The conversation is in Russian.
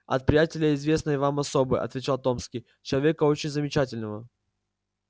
от приятеля известной вам особы отвечал томский человека очень замечательного